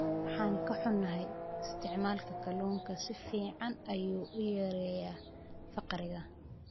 Waan ka xunahay, isticmaalka kalluunku si fiican ayuu u yareeyaa faqriga.